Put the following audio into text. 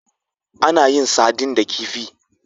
Ana yin sardine da kifi.